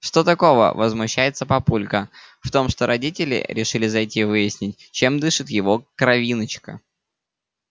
что такого возмущается папулька в том что родители решили зайти выяснить чем дышит его кровиночка